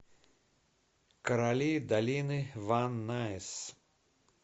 короли долины ван найс